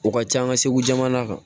O ka ca an ka segu jamana kan